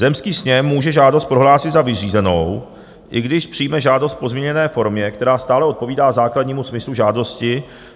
Zemský sněm může žádost prohlásit za vyřízenou, i když přijme žádost v pozměněné formě, která stále odpovídá základnímu smyslu žádosti.